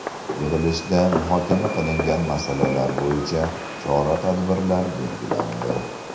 Yig‘ilishda muhokama qilingan masalalar bo‘yicha chora-tadbirlar belgilandi.